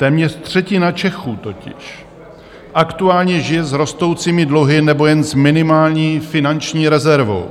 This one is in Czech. Téměř třetina Čechů totiž aktuálně žije s rostoucími dluhy nebo jen s minimální finanční rezervou,